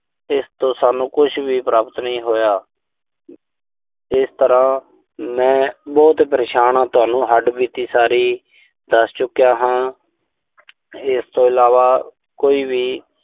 ਇਸ ਤੋਂ ਸਾਨੂੰ ਕੁਸ਼ ਵੀ ਪ੍ਰਾਪਤ ਨਹੀਂ ਹੋਇਆ। ਇਸ ਤਰ੍ਹਾਂ ਮੈਂ ਬਹੁਤ ਪਰੇਸ਼ਾਨ ਆਂ। ਤੁਹਾਨੂੰ ਹੱਡਬੀਤੀ ਸਾਰੀ ਦੱਸ ਚੁੱਕਿਆ ਹਾਂ। ਇਸ ਤੋਂ ਇਲਾਵਾ ਕੋਈ ਵੀ